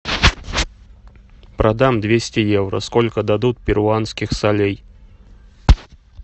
продам двести евро сколько дадут перуанских солей